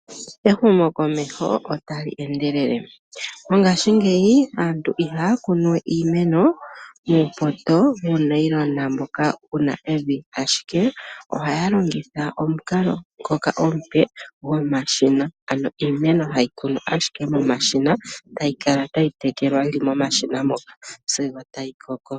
Ehumokomeho otali endelele. Mongashingeyi aantu ihaya kunuwe iimeno muupoto, muunayilona moka mu na evi, ashike ohaya longitha omukalo ngoka omupe gomashina. Ano iimeno tayi kunwa momashina, tayi kala tayi telekelwa sigo yakoko.